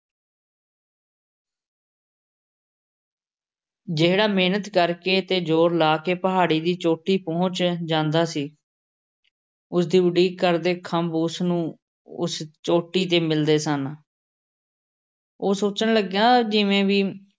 ਜਿਹੜਾ ਮਿਹਨਤ ਕਰ ਕੇ ਤੇ ਜ਼ੋਰ ਲਾ ਕੇ ਪਹਾੜੀ ਦੀ ਚੋਟੀ ਤੇ ਪਹੁੰਚ ਜਾਂਦਾ ਸੀ। ਉਸ ਦੀ ਉਡੀਕ ਕਰਦੇ ਖੰਭ ਉਸ ਨੂੰ ਉਸ ਚੋਟੀ ਤੇ ਮਿਲ਼ਦੇ ਸਨ। ਉਹ ਸੋਚਣ ਲੱਗਾ ਜਿਵੇਂ ਬਈ